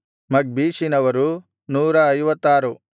ಮಗ್ಬೀಷಿನವರು 156